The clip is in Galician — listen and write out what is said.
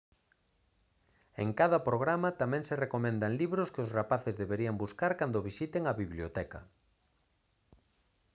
en cada programa tamén se recomendan libros que os rapaces deberían buscar cando visiten a biblioteca